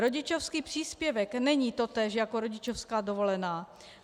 Rodičovský příspěvek není totéž jako rodičovská dovolená.